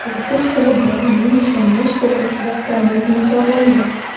O‘zbek tili bayramini nishonlash to‘g‘risida qonun imzolandi.